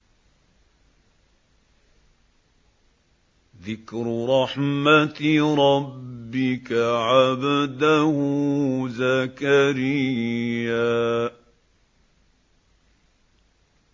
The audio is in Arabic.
ذِكْرُ رَحْمَتِ رَبِّكَ عَبْدَهُ زَكَرِيَّا